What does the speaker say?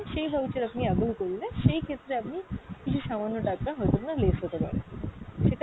সেই voucher আপনি avail করলে সেই ক্ষেত্রে আপনি কিছু সামান্য টাকা হয়তো বা less হতে পারে। সেটা